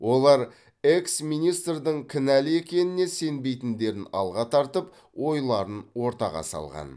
олар экс министрдің кінәлі екеніне сенбейтіндерін алға тартып ойларын ортаға салған